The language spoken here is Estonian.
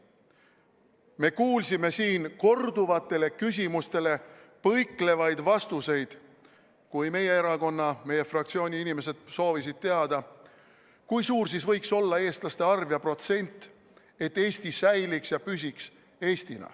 Me kuulsime siin korduvatele küsimustele põiklevaid vastuseid, kui meie erakonna, meie fraktsiooni inimesed soovisid teada, kui suur siis võiks olla eestlaste arv ja protsent, et Eesti säiliks ja püsiks Eestina.